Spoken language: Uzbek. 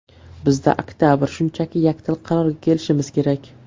Bizda oktabr, shunchaki yakdil qarorga kelishimiz kerak.